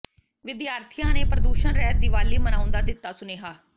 ਵਿਦਿਆਰਥੀਆਂ ਨੇ ਪ੍ਰਦੂਸ਼ਣ ਰਹਿਤ ਦੀਵਾਲੀ ਮਨਾਉਣ ਦਾ ਦਿੱਤਾ ਸੁਨੇਹਾ